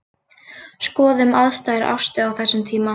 Skoðum aðstæður Ástu á þessum tíma.